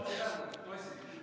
Palun vaikust!